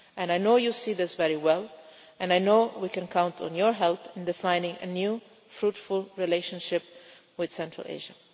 I know you see this very well and I know we can count on your help in defining a new fruitful relationship with Central Asia.